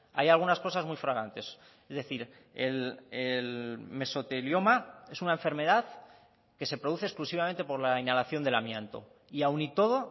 hay algunas cosas muy fragantes es decir el mesotelioma es una enfermedad que se produce exclusivamente por la inhalación del amianto y aun y todo